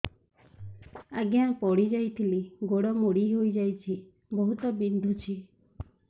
ଆଜ୍ଞା ପଡିଯାଇଥିଲି ଗୋଡ଼ ମୋଡ଼ି ହାଇଯାଇଛି ବହୁତ ବିନ୍ଧୁଛି